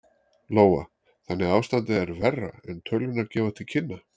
Lóa: Þannig að ástandið er verra en tölurnar gefa til kynna?